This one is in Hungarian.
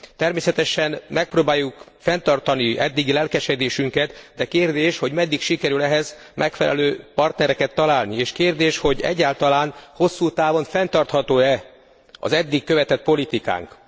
Természetesen megpróbáljuk fenntartani eddigi lelkesedésünket, de kérdés, hogy meddig sikerül ehhez megfelelő partnereket találni, és kérdés, hogy egyáltalán hosszú távon fenntartható e az eddig követett politikánk.